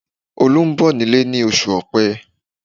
Olu ń bọ̀ nílé ní oṣù ọpẹ́